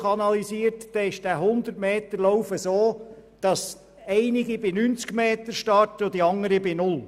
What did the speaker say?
Bei einem Hundermeterlauf starten einige bei 90 Metern und andere bei null.